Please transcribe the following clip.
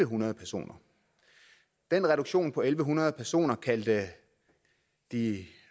hundrede personer den reduktion på en hundrede personer kaldte de